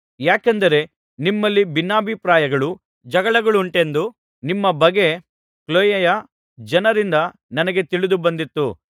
ಯಾಕೆಂದರೆ ನಿಮ್ಮಲ್ಲಿ ಭಿನ್ನಾಭಿಪ್ರಾಯಗಳು ಜಗಳಗಳುಂಟೆಂದು ನಿಮ್ಮ ಬಗ್ಗೆ ಖ್ಲೋಯೆಯ ಜನರಿಂದ ನನಗೆ ತಿಳಿದು ಬಂದಿತು